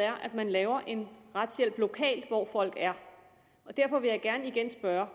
er at man laver en retshjælp lokalt hvor folk er derfor vil jeg gerne igen spørge